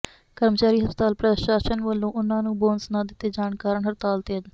ਕਰਮਚਾਰੀ ਹਸਪਤਾਲ ਪ੍ਰਸ਼ਾਸਨ ਵੱਲੋਂ ਉਨ੍ਹਾਂ ਨੂੰ ਬੋਨਸ ਨਾ ਦਿੱਤੇ ਜਾਣ ਕਾਰਨ ਹੜਤਾਲ ਤੇ ਹਨ